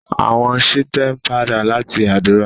àwọn Shite n pàdà lati ádùrá.